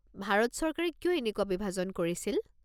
ভাৰত চৰকাৰে কিয় এনেকুৱা বিভাজন কৰিছিল?